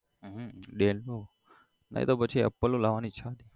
હમ હ dell નું નઈ તો પછી apple નું લાવાની ઈચ્છા